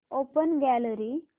open gallery